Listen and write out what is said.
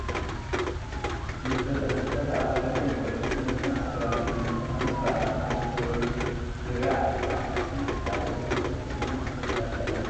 መስተታት፡- መስተታት ኣብ ክልተ ይምቀሉ፡፡ ልስሉስ መስተን ኣልኮላዊ መስተታትን እንትኾኑ ካብ ኣልኮላዊ መስተታት ዋይን፣ ቢራን ኣረቕን ካብ ልስሉስ መስተ ድማ ለስላሳ እዩ፡፡